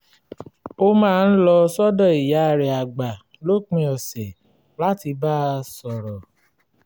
ó máa ń lọ sọ́dọ̀ ìyá rẹ̀ àgbà lópin ọ̀sẹ̀ láti bá a sọ̀rọ̀